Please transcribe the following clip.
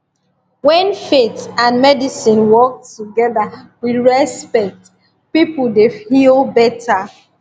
when faith and medicine work together with respect people dey heal better